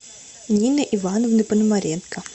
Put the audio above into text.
нины ивановны пономаренко